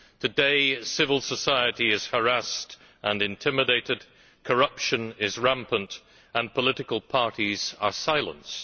Today civil society is harassed and intimidated, corruption is rampant, and political parties are silenced.